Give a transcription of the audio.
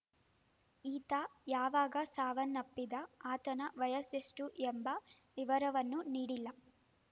ಈತ ಯಾವಾಗ ಸಾವನ್ನಪ್ಪಿದ ಆತನ ವಯಸ್ಸೆಷ್ಟುಎಂಬ ವಿವರವನ್ನು ನೀಡಿಲ್ಲ